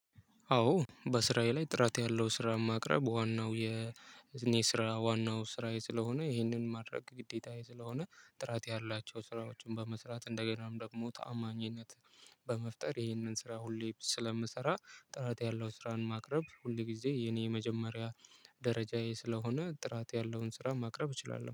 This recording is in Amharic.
አዎ በስራዬ ላይ ጥራት ያለው ስራ ማቅረብ ዋናው የ እኔ ስራ ዋናው ስራዬ ስለሆነ ይህንን ማድረግ ግዴታዬ ስለሆነ ጥራት ያላቸው ስራዎችን በመስራት እንደገናም ደግሞ ተአማኝነት በመፍጠር ይሄንን ስራ ሁሌ ስለምሰራ ጥራት ያለው ስራን ማቅረብ ሁሌ ጊዜ የኔ የመጀመሪያ ደረጃዬ ስለሆነ ጥራት ያለውን ስራ ማቅረብ እችላለሁ